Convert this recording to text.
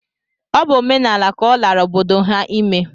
Ọ bụ omenaala ka ọ lara obodo ha ime